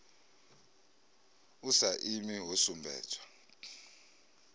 a sa imi ho sumbedzwa